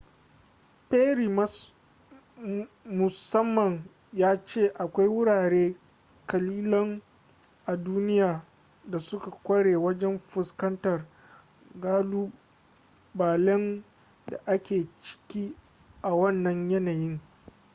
perry musamman ya ce akwai wurare kalilan a duniya da suka kware wajen fuskantar kalubalen da ake ciki a wannan yanayin